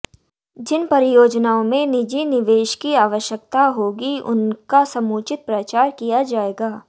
जिन परियोजनाओं में निजी निवेश की आवश्यकता होगी उनका समुचित प्रचार किया जाएगा